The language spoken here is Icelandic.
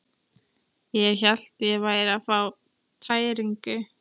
Ég hélt ég væri að fá tæringu.